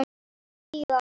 Tíu ára.